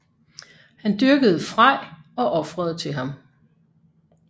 Han dyrkede Frej og ofrede til ham